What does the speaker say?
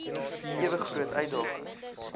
ewe groot uitdagings